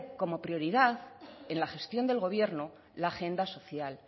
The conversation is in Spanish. como prioridad en la gestión del gobierno la agenda social